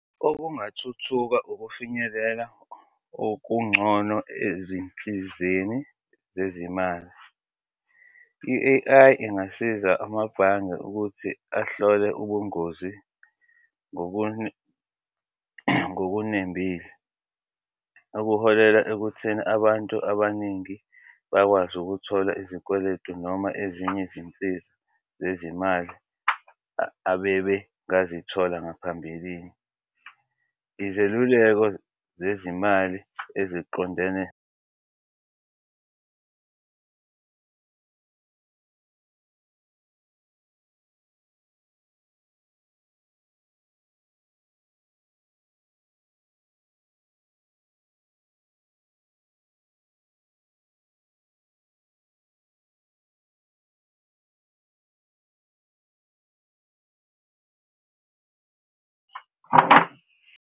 Okungathuthuka ukufinyelela okungcono ezinsizeni zezimali, i-A_I ingasiza amabhange ukuthi ahlole ubungozi ngokunembile, okuholela ekutheni abantu abaningi bakwazi ukuthola izikweletu noma ezinye izinsiza zezimali abebe bazithola ngaphambilini. Izeluleko zezimali eziqondene.